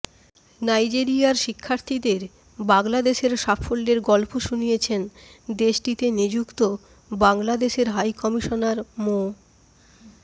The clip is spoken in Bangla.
নাইজেরিয়ার শিক্ষার্থীদের বাংলাদেশের সাফল্যের গল্প শুনিয়েছেন দেশটিতে নিযুক্ত বাংলাদেশের হাইকমিশনার মো